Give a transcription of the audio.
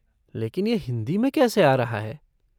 लेकिन यह हिन्दी में कैसे आ रहा है?